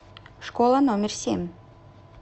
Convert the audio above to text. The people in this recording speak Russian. школа номер семь